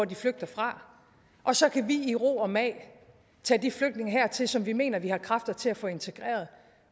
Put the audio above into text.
de flygter fra og så vi i ro og mag kan tage de flygtninge her til landet som vi mener vi har kræfter til at få integreret